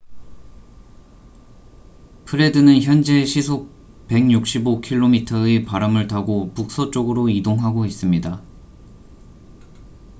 프레드는 현재 시속 165km의 바람을 타고 북서쪽으로 이동하고 있습니다